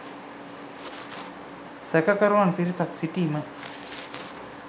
සැකකරුවන් පිරිසක් සිටීම